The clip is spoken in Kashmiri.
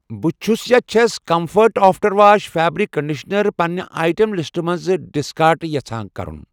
بہٕ چھس چھَس comfort after wash fabric conditioner پنِنہِ آیٹم لسٹہٕ منٛز ڈسکارڑ یژھان کرُن